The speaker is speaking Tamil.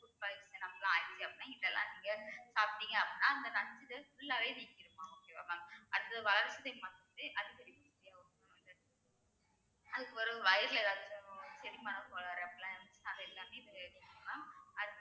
food poison அதிகம்னா இதெல்லாம் நீங்க சாப்பிட்டீங்க அப்படின்னா அந்த நச்சு full ஆவே நீக்கிரும் மா உங்களுக்~ அடுத்து அதுக்குபிறவு வயிறுல ஏதாச்சும் செரிமான கோளாறு அப்படிலாம் இருந்துச்சுன்னா அது எல்லாமே இது கேக்கும் mam அத்~